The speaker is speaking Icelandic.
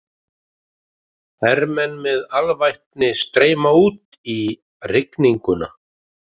Hermenn með alvæpni streyma út í rigninguna.